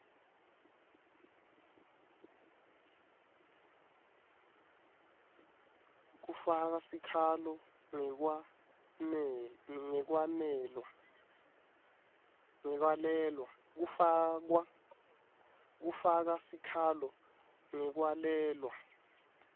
kufaka sikhalo ngekwalelwa